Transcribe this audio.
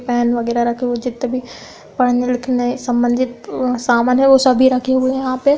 Pen -वगैरह रखे हुए हैं। जित्ते भी पढ़ने-लिखने संबंधित सामान हैं वो सभी रखे हुए हैं यहाँ पे ।